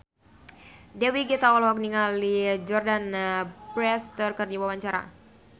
Dewi Gita olohok ningali Jordana Brewster keur diwawancara